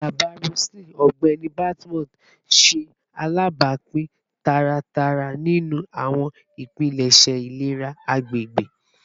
Baba Roseline, Ọgbẹni Badmus, ṣe alabapin taratara ninu awọn ipilẹṣẹ ilera agbegbe